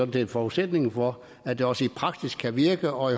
det er forudsætningen for at det også i praksis kan virke og